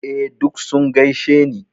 Eh, duk sun gaishe ni.